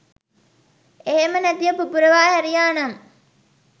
එහෙම නැතිව පුපුරවා හැරියානම්